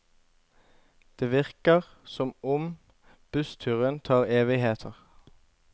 Det virker som om bussturen tar evigheter.